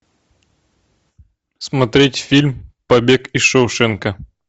смотреть фильм побег из шоушенка